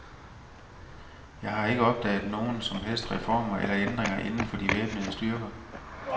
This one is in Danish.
Jeg har ikke opdaget nogen som helst reformer eller ændringer inden for de væbnede styrker.